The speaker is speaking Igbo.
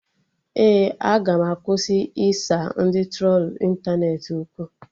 Ee, aga m akwụsị ịsa ndị trolu ịntanetị okwu